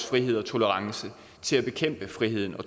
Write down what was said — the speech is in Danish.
frihedsberøvelse